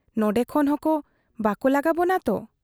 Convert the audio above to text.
ᱱᱚᱸᱰᱮ ᱠᱷᱚᱱ ᱦᱚᱸ ᱵᱟᱠᱚ ᱞᱟᱜᱟᱵᱚᱱᱟ ᱛᱚ ?